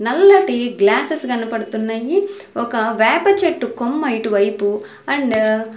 నల్లటి గ్లాసెస్ కనబడుతున్నాయి ఒక వేప చెట్టు కొమ్మ ఇటు వైపు ఆండ్ .